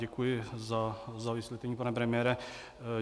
Děkuji za vysvětlení, pane premiére.